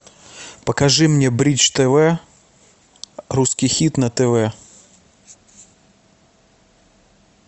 покажи мне бридж тв русский хит на тв